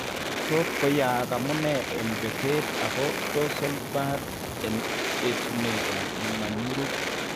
Tot koyaag amun en betet ak dorsal bud en etunet ab manyurut